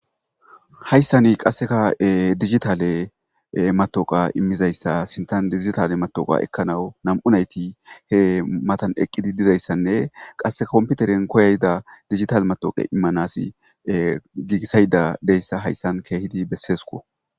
Hayssanni qasseka digitale matoqa immizayssa sintan dizgitale matoqa ekkanau nam'unayti he matan eqqidi dizayssanne qasse komputeren koyayda digital matoqe immanasi giigisayda deyssa hayssan keehidi besseesko.